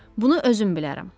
Bunu özüm bilərəm.